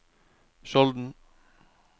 Skjolden